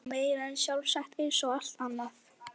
Það var meira en sjálfsagt eins og allt annað.